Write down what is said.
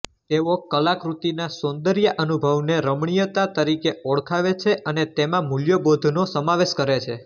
તેઓ કલાકૃતિના સૌંદર્યાનુભવને રમણીયતા તરીકે ઓળખાવે છે અને તેમાં મૂલ્યબોધનો સમાવેશ કરે છે